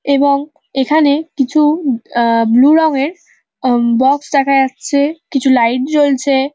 এবং এখানে কিছু ব আহ ব্লু রঙের অম বক্স দেখা যাচ্ছে কিছু লাইট জ্বলছে।